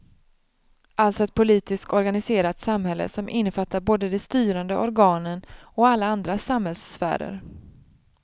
Alltså ett politiskt organiserat samhälle som innefattar både de styrande organen och alla andra samhällssfärer.